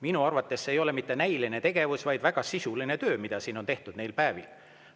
Minu arvates see ei ole mitte näiline tegevus, vaid väga sisuline töö, mida siin on tehtud neil päevil.